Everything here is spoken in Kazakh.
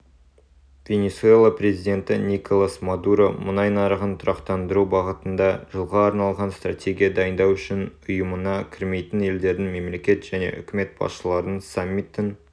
венесуэла президенті николас мадуро мұнай нарығын тұрақтандыру бағытында жылға арналған стратегия дайындау үшін ұйымына кірмейтін елдердің мемлекет және үкімет басшыларының саммитін